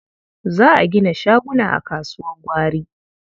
Za a gina shaguna a kasuwar gwari.